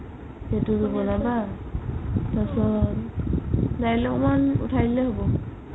সেইটো বনাবা তাৰ পিছত কালৈ অকমাণ উথাই দিলে হ'ব